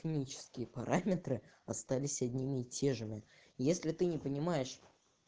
комические параметры остались одни и те же ими если ты не понимаешь